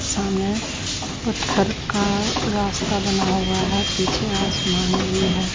सामने पत्थर का रास्ता बना हुआ है पीछे आसमान भी है।